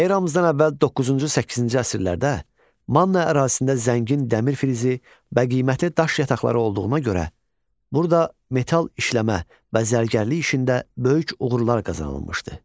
Eramızdan əvvəl doqquzuncu-səkkizinci əsrlərdə Manna ərazisində zəngin dəmir filizi və qiymətli daş yataqları olduğuna görə, burada metal işləmə, bəzərgərlik işində böyük uğurlar qazanılmışdı.